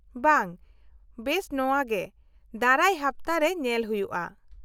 -ᱵᱟᱝ, ᱵᱮᱥ ᱱᱚᱶᱟᱜᱮ, ᱫᱟᱨᱟᱭ ᱦᱟᱯᱛᱟᱨᱮ ᱧᱮᱞ ᱦᱩᱭᱩᱜᱼᱟ ᱾